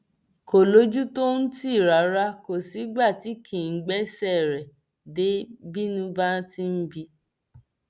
kò lójú tó ń tì rárá kò sígbà tí kì í gbéṣẹ rẹ dé bínú bá ti ń bí i